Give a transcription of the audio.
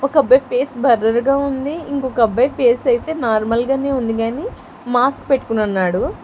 ఒక అబ్బాయ్ ఫేస్ బర్రర్ గా ఉంది ఇంకొక అబ్బాయ్ ఫేస్ ఐతే నార్మల్ గానే ఉంది గాని మాస్క్ పెట్టుకొనున్నాడు.